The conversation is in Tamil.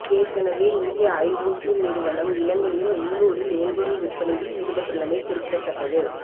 ஏற்கனவே இந்திய ஐஓசி நிறுவனம் இலங்கையின் உள்ளூரில் எரிபொருள் விற்பனையில் ஈடுபட்டுள்ளமை குறிப்பிடத்தக்கது